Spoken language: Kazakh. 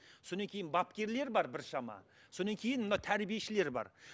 содан кейін бапкерлер бар біршама содан кейін мына тәрбиешілер бар